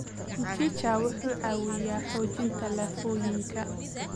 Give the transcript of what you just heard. Mchicha wuxuu caawiyaa xoojinta lafooyinka.